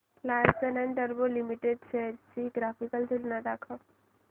Larsen and टुर्बो limited shares ची graphical तुलना दाखव